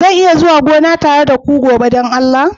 Zan iya zuwa gona tare da ku gobe don Allah?